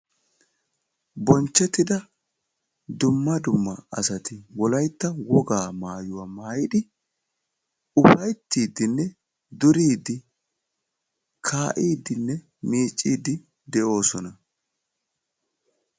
Bonchchettida dumma dumma wogaa maayuwaa maayidi ufayttidinne duridi kaidinne miccidi deosona.